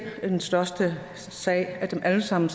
den største sag af dem alle sammen